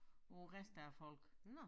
På æ rest af æ folk